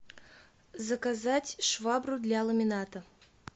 заказать швабру для ламината